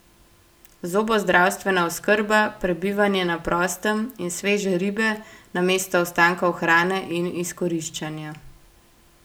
Zobozdravstvena oskrba, prebivanje na prostem in sveže ribe namesto ostankov hrane in izkoriščanja.